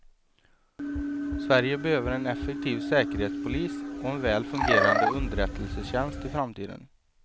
Sverige behöver en effektiv säkerhetspolis och en väl fungerande underrättelsetjänst i framtiden.